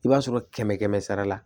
I b'a sɔrɔ kɛmɛ kɛmɛ sara la